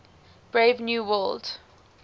brave new world